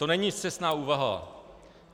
To není scestná úvaha.